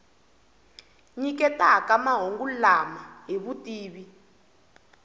nyiketaka mahungu lama hi vutivi